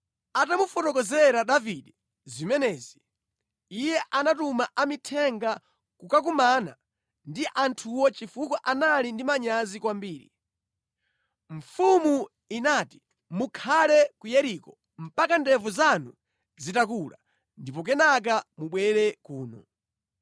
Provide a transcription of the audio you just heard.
Atamufotokozera Davide zimenezi, iye anatuma amithenga kukakumana ndi anthuwo chifukwa anali ndi manyazi kwambiri. Mfumu inati, “Mukhale ku Yeriko mpaka ndevu zanu zitakula, ndipo kenaka mubwere kuno.”